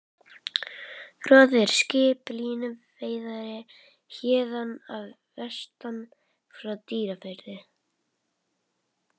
Fróði er skip, línuveiðari héðan að vestan, frá Dýrafirði.